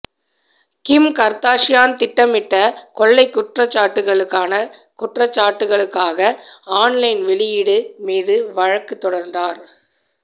கிம் Kardashian திட்டமிட்ட கொள்ளை குற்றச்சாட்டுக்களுக்கான குற்றச்சாட்டுக்களுக்காக ஆன்லைன் வெளியீடு மீது வழக்கு தொடர்ந்தார்